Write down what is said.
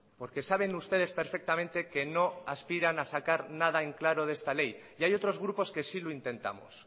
porque saben ustedes perfectamente que no aspiran a sacar nada en claro de esta ley y hay otros grupos que sí lo intentamos